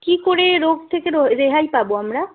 কি করে এই রোগ থেকে রেহাই পাব আমরা